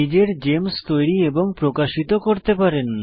নিজের জেমস তৈরী এবং প্রকাশিত করতে পারেন